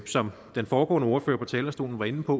som den foregående ordfører på talerstolen var inde på